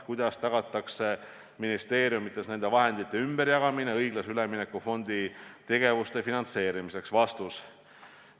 Kuidas tagatakse ministeeriumides nende vahendite ümberjagamine õiglase ülemineku fondi tegevuste finantseerimiseks?